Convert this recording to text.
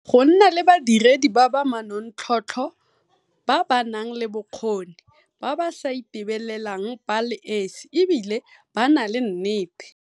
go nna le badiredi ba ba manontlhotlho, ba ba nang le bokgoni, ba ba sa itebelelang ba le esi e bile ba na le nnete.